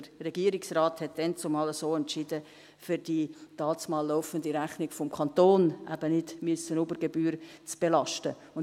Der Regierungsrat hatte damals so entschieden, um die dazumal laufende Rechnung des Kantons eben nicht über Gebühr belasten zu müssen.